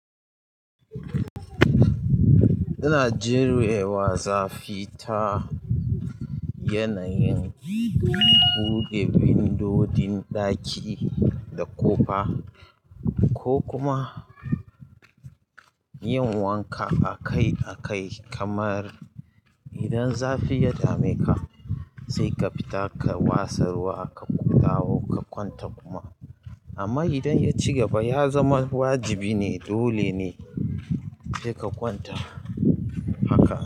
Ina jurewa zafi ta yanayin buɗe vindodin ɗaki da ƙofa ko kuma yin wanka akai-akai kamar idan zafi ya dameka sai ka fita ka wasa ruwa, ka dawo, ka kwanta kuma. Amma idan yaci gaba ya zama wajibi ne dole ne sai ka kwanta haka.